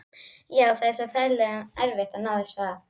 Já, það er svo ferlega erfitt að ná þessu af.